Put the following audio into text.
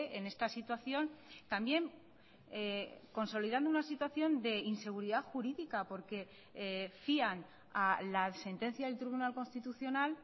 en esta situación también consolidando una situación de inseguridad jurídica porque fían a la sentencia del tribunal constitucional